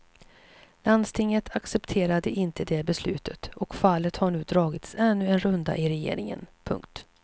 Landstinget accepterade inte det beslutet och fallet har nu dragits ännu en runda i regeringen. punkt